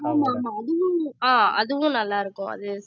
ஆமா ஆமா அதுவும் ஆஹ் அதுவும் நல்லா இருக்கும் அது